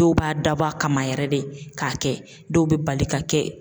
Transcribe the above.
Dɔw b'a dabɔ a kama yɛrɛ de k'a kɛ dɔw bɛ bali ka kɛ.